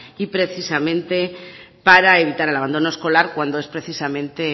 y precisamente para evitar el abandono escolar cuando es precisamente